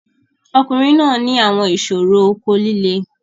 Ọkunrin naa ni awọn iṣoro oko lile